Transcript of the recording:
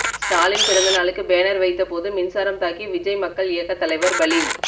ஸ்டாலின் பிறந்தநாளுக்கு பேனர் வைத்தபோது மின்சாரம் தாக்கி விஜய் மக்கள் இயக்க தலைவர் பலி